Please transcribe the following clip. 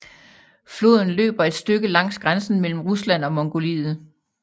Floden løber et stykke langs grænsen mellem Rusland og Mongoliet